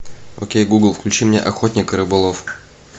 окей гугл включи мне охотник и рыболов